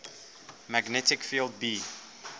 magnetic field b